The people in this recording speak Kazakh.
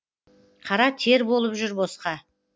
қара тер болып жүр босқа